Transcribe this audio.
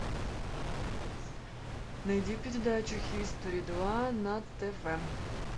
найди передачу хистори два на тв